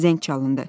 Zəng çalındı.